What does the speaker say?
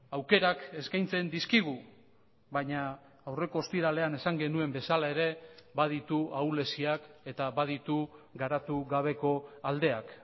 aukerak eskaintzen dizkigu baina aurreko ostiralean esan genuen bezala ere baditu ahuleziak eta baditu garatu gabeko aldeak